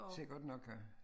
Sikkert nok